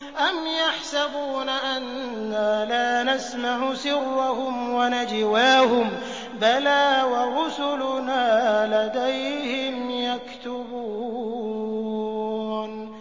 أَمْ يَحْسَبُونَ أَنَّا لَا نَسْمَعُ سِرَّهُمْ وَنَجْوَاهُم ۚ بَلَىٰ وَرُسُلُنَا لَدَيْهِمْ يَكْتُبُونَ